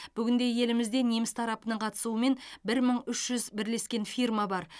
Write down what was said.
бүгінде елімізде неміс тарапының қатысуымен бір мың үш жүз бірлескен фирма бар